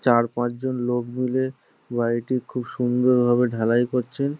চার পাঁচ জন লোক মিলে বাড়িটি খুব সুন্দর ভাবে ঢালাই করছেন।